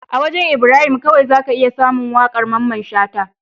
A wajan Ibrahim kawai zaka iya samun waƙar mamman shata